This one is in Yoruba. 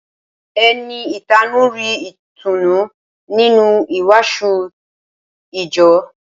Ẹni ìtanú rí ìtùnú nínú ìwàásù ìjọ